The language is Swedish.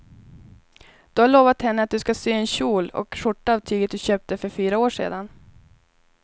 Du har lovat henne att du ska sy en kjol och skjorta av tyget du köpte för fyra år sedan.